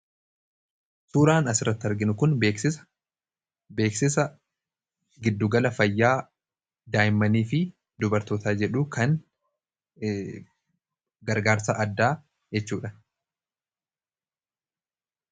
Suuraan asirratti arginu kun beeksisa gidduugala fayyaa daa'immanii fi dubartootaa jedhu kan gargaarsa addaa jechuudha.